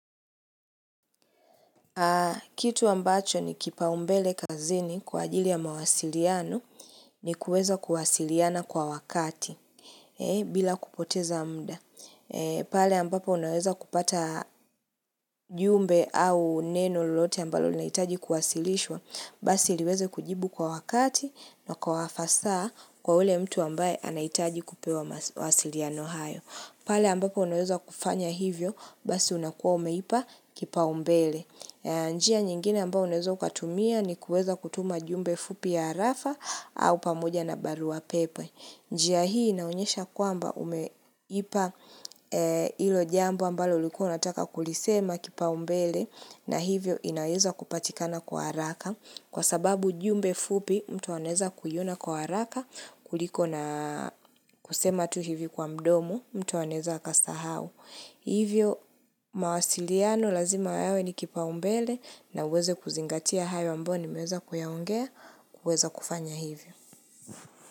Kitu ambacho ni kipaumbele kazini kwa ajili ya mawasiliano ni kuweza kuwasiliana kwa wakati bila kupoteza muda. Pale ambapo unaweza kupata jumbe au neno lolote ambalo linahitaji kuwasilishwa basi liweza kujibu kwa wakati na kwa wafasaa kwa ule mtu ambaye anahitaji kupewa mawasiliano hayo. Pale ambapo unaweza kufanya hivyo basi unakuwa umeipa kipaumbele. Njia nyingine ambao unaweza ukatumia ni kuweza kutuma jumbe fupi ya harafa au pamoja na barua pepe. Njia hii inaonyesha kwamba umeipa hilo jambo ambalo ulikuwa unataka kulisema kipaumbele na hivyo inaweza kupatikana kwa haraka kwa sababu jumbe fupi mtu anaweza kuiona kwa haraka kuliko na kusema tu hivi kwa mdomo mtu anaweza akasahau. Hivyo mawasiliano lazima yawe ni kipaumbele na uweze kuzingatia hayo ambayo nimeweza kuyaongea kuweza kufanya hivyo.